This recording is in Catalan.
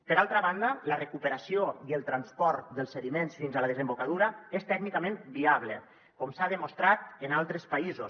per altra banda la recuperació i el transport dels sediments fins a la desembocadura és tècnicament viable com s’ha demostrat en altres països